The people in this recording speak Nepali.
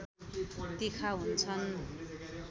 तिखा हुन्छन्